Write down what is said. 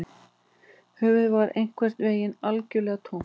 Höfuðið var einhvern veginn algjörlega tómt